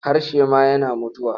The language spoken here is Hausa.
Harshe ma yana mutuwa.